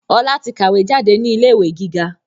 Ọlá tí kàwé jáde ní ilé ìwé gíga